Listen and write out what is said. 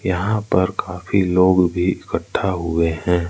यहां पर काफी लोग भी इकट्ठा हुए हैं।